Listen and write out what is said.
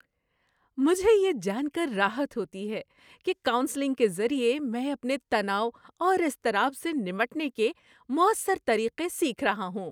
مجھے یہ جان کر راحت ہوتی ہے کہ کاؤنسلنگ کے ذریعے میں اپنے تناؤ اور اضطراب سے نمٹنے کے مؤثر طریقے سیکھ رہا ہوں۔